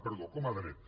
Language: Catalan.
perdó com a dret